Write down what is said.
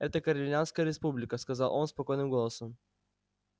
это корелианская республика сказал он спокойным голосом